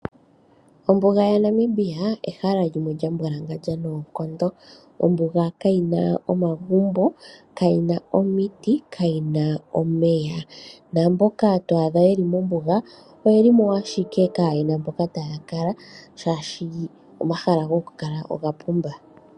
Ombuga yaNamibia ehala limwe lya mbwalangandja noonkondo. Ombuga kayi na omagumbo, kayi na omiti, kayi na omeya naamboka to adha yeli mombuga oyeli mo ashike kaayena mpoka taya kala shaashi omahala gokukala oga pumba.